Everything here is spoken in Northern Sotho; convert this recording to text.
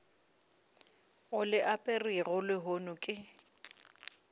o le aperego lehono ke